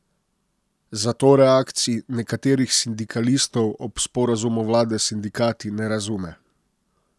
Zato reakcij nekaterih sindikalistov ob sporazumu vlade s sindikati ne razume.